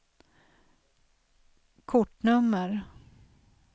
kortnummer